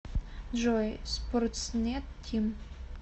джой спортснет тим